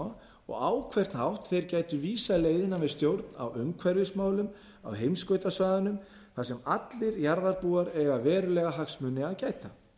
glíma og á hvern hátt þeir gætu vísað leiðina við stjórn á umhverfismálum á heimskautasvæðunum þar sem allir jarðarbúar eiga verulegra hagsmuna að gæta